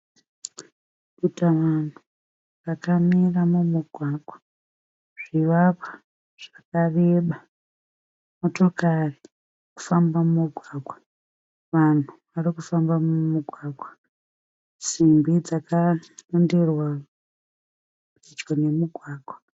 Dutavanhu rakamira mumugwagwa, zvivakwa zvakareba. Motokari dziri kufamba mumugwagwa. Vanhu vari kufamba mumugwagwa. Simbi dzakaronderwa pedyo nemugwagwa.